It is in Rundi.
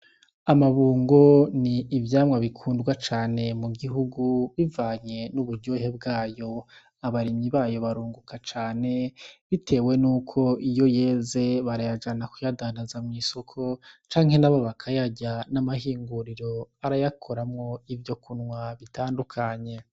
Amabungo n'ivyamwa bikundwa cane mu gihugu bivanye n'uburyohe bwayo, abarimyi bayo barunguka cane bitewe nuko iyo yeze barayajana kuyadandaza mw'isoko canke nabo bakayarya, n'amahinguriro arayakoramwo ivyo kunywa bitandukanye.